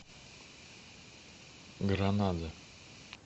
гранада